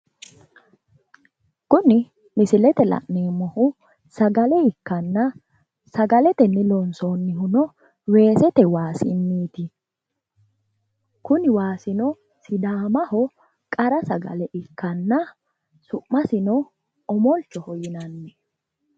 Kuni misilete la'nemmohu sagale ikkanna. Sagale tenne loonsoonnohuno weesete waasinniiti. Kuni waasino sidaamaho qara sagale ikkanna su'masino omolchoho yinanni.